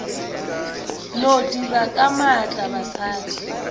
no dira ka maatla basadi